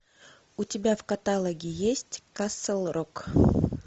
у тебя в каталоге есть касл рок